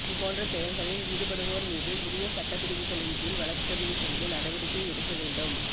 இதுபோன்ற செயல்களில் ஈடுபடுவோர் மீது உரிய சட்டப் பிரிவுகளின் கீழ் வழக்குப்பதிவு செய்து நடவடிக்கை எடுக்க வேண்டும்